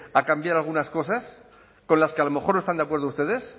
a cambiar algunas cosas con las que a lo mejor no están de acuerdo ustedes